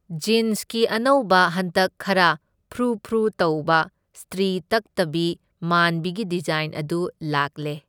ꯖꯤꯟꯁꯀꯤ ꯑꯅꯧꯕ ꯍꯟꯗꯛ ꯈꯔ ꯐ꯭ꯔꯨ ꯐ꯭ꯔꯨ ꯇꯧꯕ ꯁꯇ꯭ꯔꯤ ꯇꯛꯇꯕꯤ ꯃꯥꯟꯕꯤꯒꯤ ꯗꯤꯖꯥꯏꯟ ꯑꯗꯨ ꯂꯥꯛꯂꯦ꯫